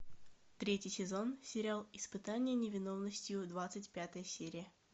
третий сезон сериал испытание невиновностью двадцать пятая серия